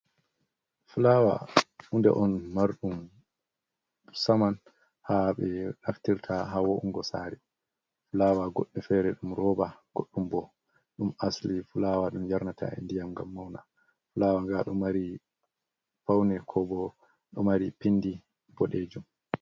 fulawa(flower) hunde on marɗum saman ha ɓe naftirta ha wo’ungo sare. flawa goddo fere ɗum roba, goɗɗum bo ɗum asli flawa ɗum yarnata ndiyam gam mauna. fulawa nga domari faune ko bo do mari pindi bodejum.